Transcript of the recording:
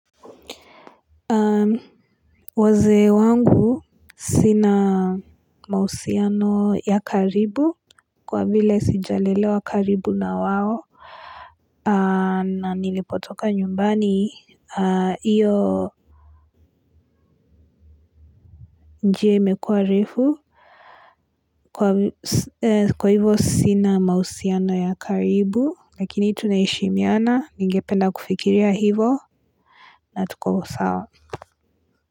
Waze wangu sina mahusiano ya karibu kwa vile sijalelewa karibu na wao na nilipotoka nyumbani iyo njia imekuwa refu kwa hivyo sina mahusiano ya karibu lakini tunaheshimiana ningependa kufikiria hivyo na tuko sawa.